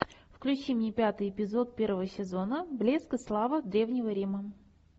включи мне пятый эпизод первого сезона блеск и слава древнего рима